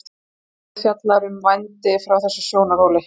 svarið fjallar um vændi frá þessum sjónarhóli